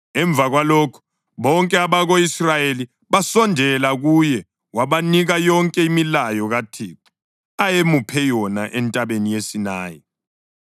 Emva kwalokho bonke abako-Israyeli basondela kuye wabanika yonke imilayo kaThixo ayemuphe yona entabeni yeSinayi.